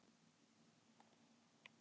Það hlýtur að vera óbærilegt.